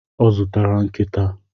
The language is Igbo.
Ọ zụtara nkita